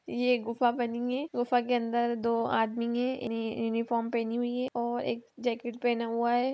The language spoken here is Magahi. ये एक गुफा बनी हुई है | गुफा के अंदर दो आदमी हैं | यूनिफार्म पहनी हुई है और एक जैकेट पहना हुआ है।